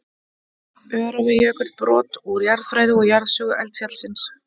Öræfajökull, brot úr jarðfræði og jarðsögu eldfjallsins.